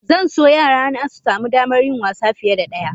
Zan so yarana su sami damar yin wasa fiye da ɗaya.